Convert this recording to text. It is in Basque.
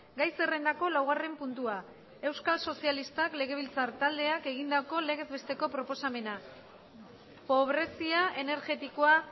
gai zerrendako laugarren puntua euskal sozialistak legebiltzar taldeak egindako legez besteko proposamena pobrezia energetikoa